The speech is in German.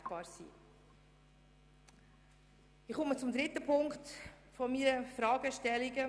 Ich komme zum dritten Punkt meiner Fragestellungen.